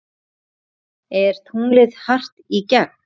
Er tunglið hart í gegn?